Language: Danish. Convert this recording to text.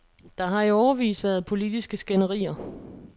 Der har i årevis været politiske skænderier.